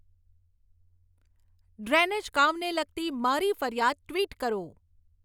drainage કામને લગતી મારી ફરિયાદ ટ્વિટ કરો